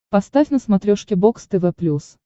поставь на смотрешке бокс тв плюс